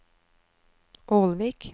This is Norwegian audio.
Ålvik